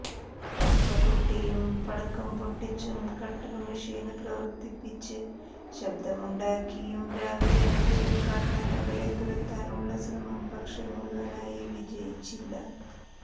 പാട്ടകൊട്ടിയും പടക്കംപൊട്ടിച്ചും കട്ടര്മെഷീന് പ്രവര്ത്തിപ്പിച്ച് ശബ്ദമുണ്ടാക്കിയും രാവിലെ മുതല് കാട്ടാനകളെ തുരത്താനുള്ള ശ്രമം പക്ഷേ മുഴുവനായി വജയിച്ചില്ല